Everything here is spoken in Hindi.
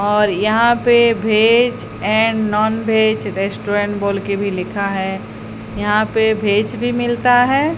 और यहां पे veg and non veg restaurant बोल के भी लिखा है यहां पे भेज भी मिलता है।